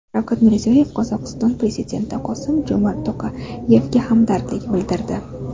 Shavkat Mirziyoyev Qozog‘iston prezidenti Qosim-Jo‘mart To‘qayevga hamdardlik bildirdi.